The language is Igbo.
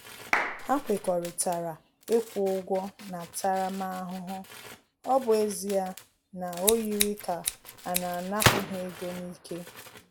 Ha kwekọrịtara ịkwụ ụgwọ ntaramahụhụ, ọ bụ ezie na ọ yiri ka a na-anapu ha ego n'ike